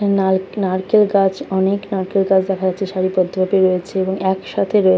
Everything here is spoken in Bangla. নাল নারকেল গাছ অনেক নারকেল গাছ দেখা যাচ্ছে সারি বদ্দ ভাবে রয়েছে এবং একসাথে রয়েছে।